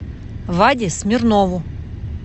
ваде смирнову